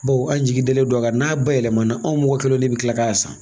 Bawo an jigi deli do a kan n'a bayɛlɛma na an mɔgɔ kelenw yɛrɛ de bɛ kila k'a san.